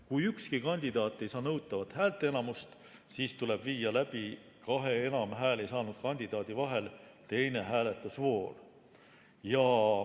Kui ükski kandidaat ei saa nõutavat häälteenamust, siis tuleb viia kahe enim hääli saanud kandidaadi vahel läbi teine hääletusvoor.